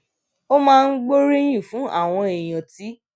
ó máa ń gbóríyìn fún àwọn èèyàn tí